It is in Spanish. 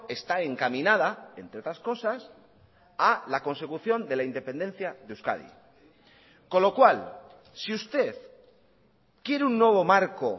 está encaminada entre otras cosas a la consecución de la independencia de euskadi con lo cual si usted quiere un nuevo marco